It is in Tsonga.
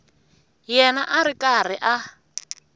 yena a ri karhi a